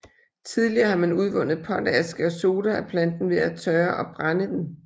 Tidligere har man udvundet potaske og soda af planten ved at tørre og brænde den